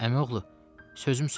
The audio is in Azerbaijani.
Əmioğlu, sözüm sözdür.